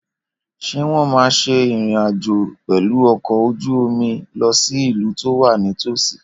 Ṣé wọ́n máa ṣe ìrìn àjò pẹ̀lú ọkọ̀ ojú omi lọ sí ìlú tó wà nítòsí?